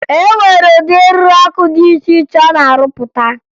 E nwere ụdị eriri ọkụ dị iche iche a na-arụpụta